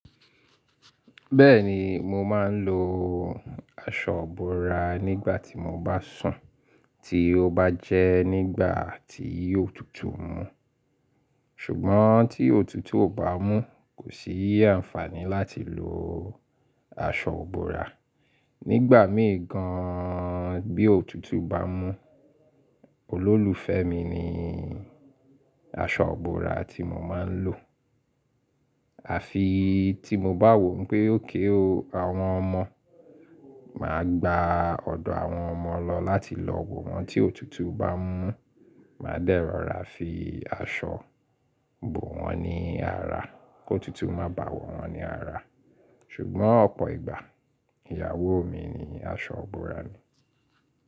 Bẹ́ẹ̀ni, mo máa ń lo aṣọ ìbora nígbà tí mo bá sùn tí ó bá jẹ́ nígbà tí òtútù mú. Ṣùgbọ́n tí òtútù ò bá mú, kò sí àǹfààní láti lo aṣọ bụ́ra. Nígbà míì gan bí òtútù bá mú, olólùfẹ́ mi ni aṣọ ìbora tí mo máa ń lò. Àfi tí mo bá wò pé okay ọ àwọn ọmọ. Máa gba ọ̀dọ̀ àwọn ọmọ lọ láti lọ wò wọ́n tí òtútù bá mú. Máa dẹ́ rọ̀ra fi aṣọ bò wọ́n ní ara kí òtútù má bá wọ̀ wọ́n ní ara. Ṣùgbọ́n ọ̀pọ̀ ìgbà, ìyàwó mi ni aṣọ ìbora ni.